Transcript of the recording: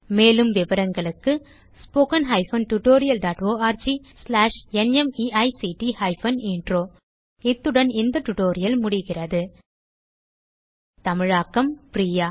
மேலும் விவரங்களுக்கு 1 இத்துடன் இந்த டியூட்டோரியல் முடிகிறது தமிழாக்கம் பிரியா